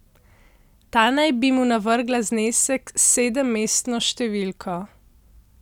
Ta naj bi mu navrgla znesek s sedemmestno številko.